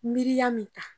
Miiriya min ta